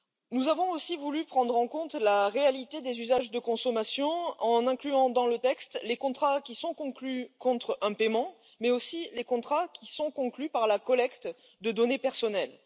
Nous avons aussi voulu prendre en compte la réalité des usages de consommation, en incluant dans le texte les contrats qui sont conclus contre un paiement, mais aussi les contrats qui sont conclus par la collecte de données personnelles.